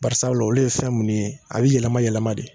Barisabula olu ye fɛn munnu ye, a bi yɛlɛma yɛlɛma de